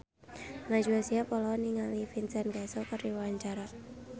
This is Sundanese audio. Najwa Shihab olohok ningali Vincent Cassel keur diwawancara